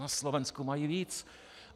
Na Slovensku mají víc.